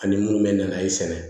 Ani munnu bɛ na i sɛnɛ